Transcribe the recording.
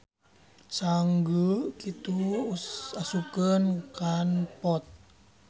Sanggeu kitu asupkeun kan pot.